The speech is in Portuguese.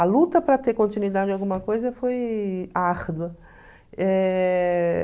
A luta para ter continuidade em alguma coisa foi árdua. Eh...